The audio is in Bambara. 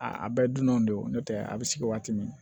A bɛɛ dunnaw de don n'o tɛ a bɛ sigi waati min